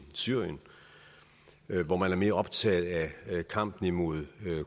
syrien hvor man er mere optaget af kampen imod